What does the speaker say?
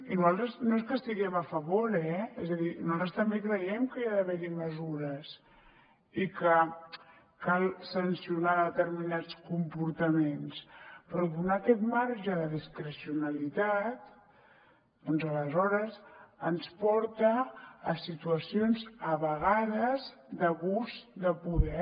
i nosaltres no és que hi estiguem a favor eh és a dir nosaltres també creiem que hi ha d’haver mesures i que cal sancionar determinats comportaments però donar aquest marge de discrecionalitat doncs aleshores ens porta a situacions a vegades d’abús de poder